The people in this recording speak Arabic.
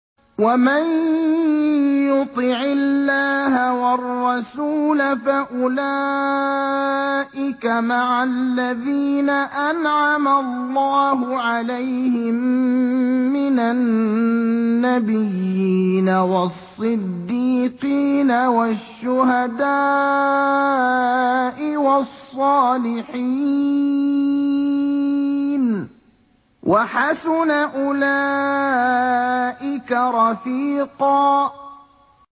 وَمَن يُطِعِ اللَّهَ وَالرَّسُولَ فَأُولَٰئِكَ مَعَ الَّذِينَ أَنْعَمَ اللَّهُ عَلَيْهِم مِّنَ النَّبِيِّينَ وَالصِّدِّيقِينَ وَالشُّهَدَاءِ وَالصَّالِحِينَ ۚ وَحَسُنَ أُولَٰئِكَ رَفِيقًا